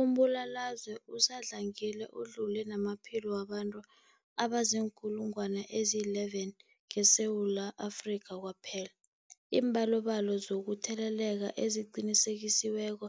Umbulalazwe usadlangile udlule namaphilo wabantu abaziinkulungwana ezi-11 ngeSewula Afrika kwaphela. Iimbalobalo zokutheleleka eziqinisekisiweko